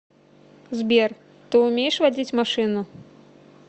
сбер ты умеешь водить машину